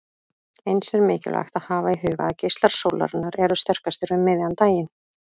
Eins er mikilvægt að hafa í huga að geislar sólarinnar eru sterkastir um miðjan daginn.